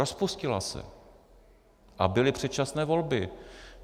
Rozpustila se a byly předčasné volby.